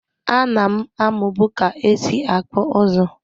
A nam amu bu ka esi akpụ ụzụ.